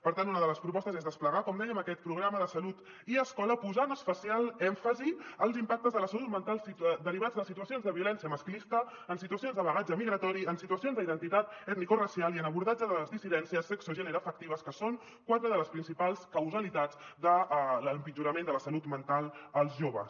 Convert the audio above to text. per tant una de les propostes és desplegar com dèiem aquest programa de salut i escola posant especial èmfasi en els impactes de la salut mental derivats de situacions de violència masclista en situacions de bagatge migratori en situacions d’identitat etnicoracial i en l’abordatge de les dissidències sexogeneroafectives que són quatre de les principals causalitats de l’empitjorament de la salut mental en els joves